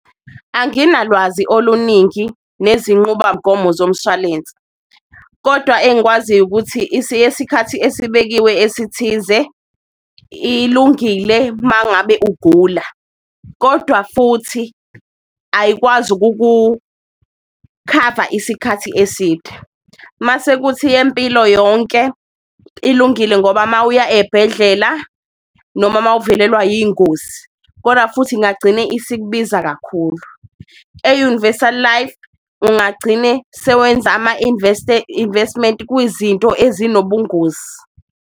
Anginalwazi oluningi nezinqubamgomo zomshwalense kodwa engikwaziyo ukuthi, yesikhathi esibekiwe esithize, ilungile mangabe ugula kodwa futhi ayikwazi ukukukhava isikhathi eside. Masekuthi yempilo yonke ilungile ngoba mawuya ebhedlela noma mawuvelelwa iy'ngozi kodwa futhi ingagcine isikubiza kakhulu, e-universal life ungagcine sewenza ama-investment kwizinto ezinobungozi.